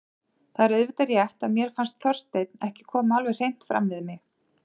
Það er auðvitað rétt að mér fannst Þorsteinn ekki koma alveg hreint fram við mig.